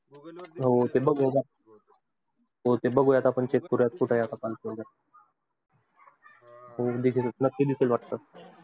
हो बघू आपण बघू आपण check करू नक्की दिसल वाटाथा.